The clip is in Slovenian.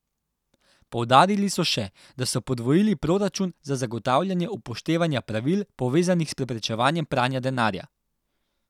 Poudarili so še, da so podvojili proračun za zagotavljanje upoštevanja pravil, povezanih s preprečevanjem pranja denarja.